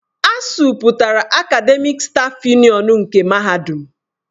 ASUU pụtara Akademịk stáf Yunịọnu nke Mahadum.